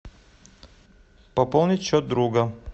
пополнить счет друга